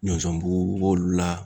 Ɲɔsɔn bugu b'olu la